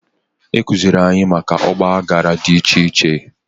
Ekuziri anyị maka Ọgba aghara dị iche iche